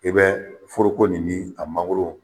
I bɛ foroko nin ni a mangoro